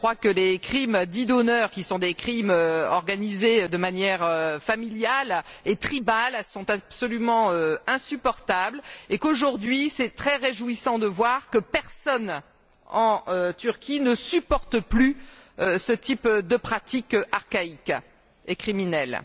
Je crois que les crimes dits d'honneur, qui sont des crimes organisés de manière familiale et tribale, sont absolument insupportables, et qu'aujourd'hui c'est très réjouissant de voir que personne en Turquie ne supporte plus ce type de pratique archaïque et criminelle.